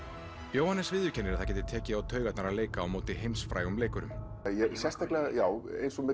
Jóhannes viðurkennir að það geti tekið á taugarnar að leika á móti heimsfrægum leikurum já eins og með